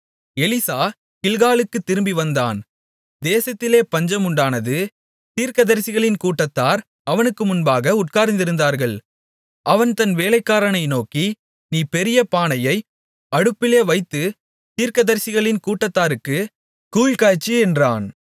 Elisha கில்காலுக்குத் திரும்பி வந்தான் தேசத்திலே பஞ்சம் உண்டானது தீர்க்கதரிசிகளின் கூட்டத்தார் அவனுக்கு முன்பாக உட்கார்ந்திருந்தார்கள் அவன் தன் வேலைக்காரனை நோக்கி நீ பெரிய பானையை அடுப்பிலே வைத்துத் தீர்க்கதரிசிகளின் கூட்டத்தாருக்குக் கூழ் காய்ச்சு என்றான்